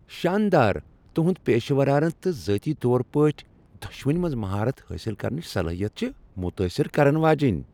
شاندار۔ تہنٛد پیشورانہٕ تہٕ ذٲتی طور پٲٹھۍ دۄشوٕنی منٛز مہارت حٲصل کرنٕچ صلٲحیت چھ متٲثر کرن واجِنۍ۔